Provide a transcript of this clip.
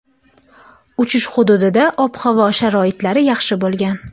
Uchish hududida ob-havo sharoitlari yaxshi bo‘lgan.